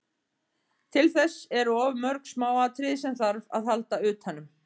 Til þess eru of mörg smáatriði sem þarf að halda utanum.